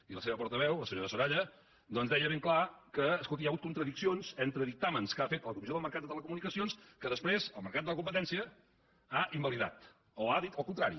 i la seva portaveu la senyora soraya doncs deia ben clar que escolti hi ha hagut contradiccions entre dic·tàmens que ha fet la comissió del mercat de les te·lecomunicacions que després el mercat de la compe·tència ha invalidat o ha dit el contrari